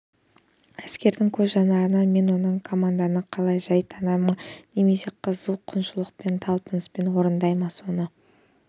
әскердің көз жанарынан мен оның команданы қалай жай тана ма немесе қызу құлшыныспен не талпыныспен орындай ма соны